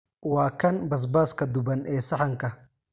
Waa kan basbaaska duban ee saxanka.